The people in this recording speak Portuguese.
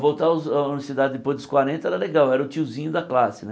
Voltar aos a universidade depois dos quarenta era legal, era o tiozinho da classe né.